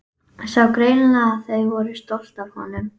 Sá greinilega að þau voru stolt af honum.